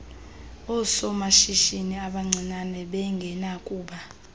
oosomashishini abancinane bengenakuba